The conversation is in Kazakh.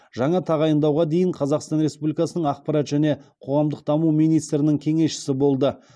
жаңа тағайындауға дейін қазақстан республикасының ақпарат және қоғамдық даму министрінің кеңесшісі болды